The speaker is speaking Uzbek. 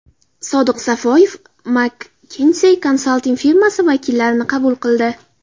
Sodiq Safoyev McKinsey konsalting firmasi vakillarini qabul qildi.